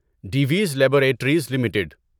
ڈیویز laboratories limited